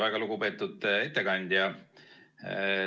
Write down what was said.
Väga lugupeetud ettekandja!